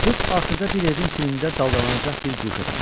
Qız axırda bir evin tinində daldalanacaq bir guşə tapdı.